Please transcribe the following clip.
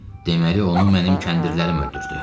Deməli onu mənim kəndirlərim öldürdü.